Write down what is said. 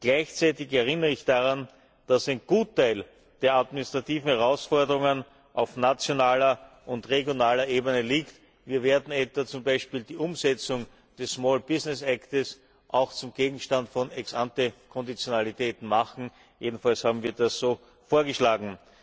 Gleichzeitig erinnere ich daran, dass ein Gutteil der administrativen Herausforderungen auf nationaler und regionaler Ebene liegt. Wir werden zum Beispiel die Umsetzung des Small Business Act auch zum Gegenstand von Ex ante Konditionalitäten machen, jedenfalls haben wir das so vorgeschlagen.